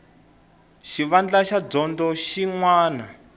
xivandla xa dyondzo xin wana